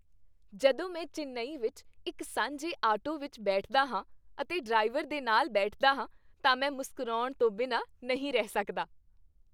ਜਦੋਂ ਮੈਂ ਚੇਨੱਈ ਵਿੱਚ ਇੱਕ ਸਾਂਝੇ ਆਟੋ ਵਿੱਚ ਬੈਠਦਾ ਹਾਂ ਅਤੇ ਡਰਾਈਵਰ ਦੇ ਨਾਲ ਬੈਠਦਾ ਹਾਂ ਤਾਂ ਮੈਂ ਮੁਸਕਰਾਉਣ ਤੋਂ ਬਿਨਾਂ ਨਹੀਂ ਰਹਿ ਸਕਦਾ।